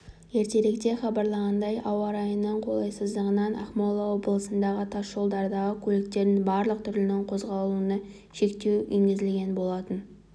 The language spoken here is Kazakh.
ертеректе хабарланғандай ауа райының қолайсыздығынан ақмола облысындағы тас жолдардағы көліктердің барлық түрінің қозғалысына шектеу енгізілген болатын